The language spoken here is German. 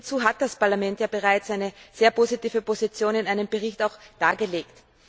Hierzu hat das Parlament ja bereits eine sehr positive Position in einem Bericht dargelegt.